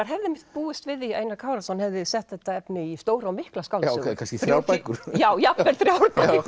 hefði einmitt búist við því að Einar Kárason hefði sett þetta efni í stóra og mikla skáldsögu kannski þrjár bækur já jafnvel þrjár